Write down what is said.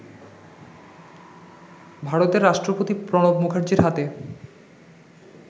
ভারতের রাষ্ট্রপতি প্রণব মুখার্জির হাতে